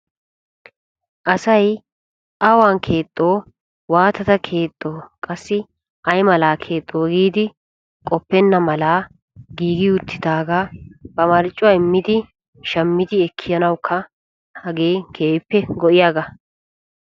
Asay awan keexxo waatadda ay mala keexxo giiddi waayetennan ba marccuwa immiddi ekkanawu hagee go'iyaaga.